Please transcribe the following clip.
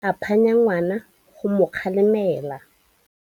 Rre o ne a phanya ngwana go mo galemela.